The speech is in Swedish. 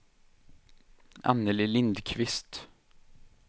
Anneli Lindqvist